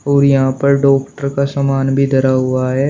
और यहां पर डॉक्टर का सामान भी धरा हुआ है।